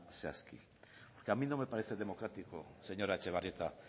zehazki porque a mí no me parece democrático señora etxebarrieta